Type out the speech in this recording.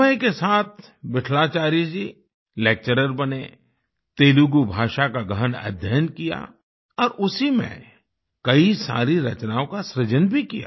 समय के साथ विट्ठलाचार्य जी लेक्चरर बने तेलुगु भाषा का गहन अध्ययन किया और उसी में कई सारी रचनाओं का सृजन भी किया